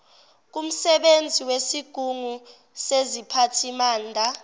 kumsebenzi wesigungu seziphathimanda